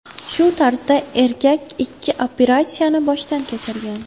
Shu tarzda erkak ikki operatsiyani boshdan kechirgan.